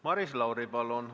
Maris Lauri, palun!